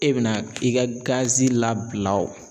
E be na i ka gazi labila o